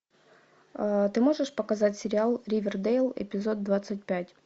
ты можешь показать сериал ривердейл эпизод двадцать пять